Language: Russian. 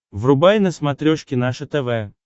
врубай на смотрешке наше тв